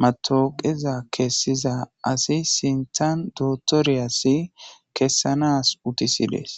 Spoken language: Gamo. matooqeza kessiza asi sintan dootoriyasi kessanas utisidees